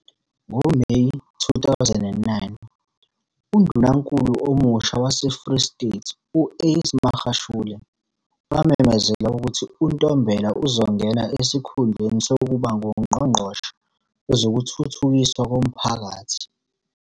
NgoMeyi 2009, uNdunankulu omusha waseFree State u- Ace Magashule wamemezela ukuthi uNtombela uzongena esikhundleni sokuba nguNgqongqoshe Wezokuthuthukiswa Komphakathi.